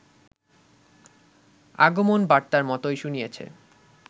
আগমনবার্তার মতই শুনিয়েছে